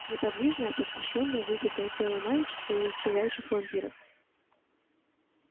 неподвижное опустошённое выпитое тело мальчика и исчезающих вампиров